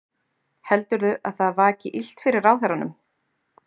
Heldurðu að það vaki illt fyrir ráðherranum?